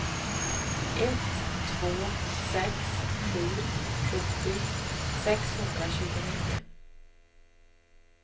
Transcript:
ett två sex sju sjuttio sexhundratjugonio